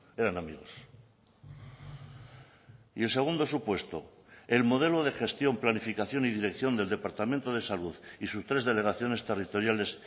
eran amigos y el segundo supuesto el modelo de gestión planificación y dirección del departamento de salud y sus tres delegaciones territoriales